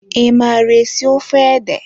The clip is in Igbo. I mara esi ofe ede?